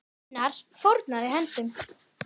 Gunnar fórnaði höndum.